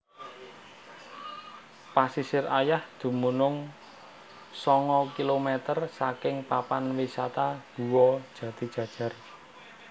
Pasisir Ayah dumunung sanga kilometer saking papan wisata Guwa Jatijajar